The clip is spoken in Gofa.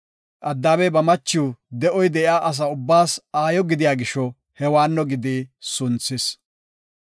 Addaamey ba machiw de7oy de7iya asa ubbaas aayo gidiya gisho Hewaanno gidi sunthis.